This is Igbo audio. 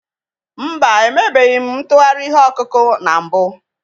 Mba, emebeghị m ntụgharị ihe ọkụkụ na mbụ